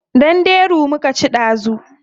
Danderu muka ci dazu.